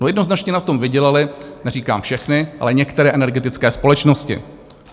No jednoznačně na tom vydělaly, neříkám všechny, ale některé energetické společnosti.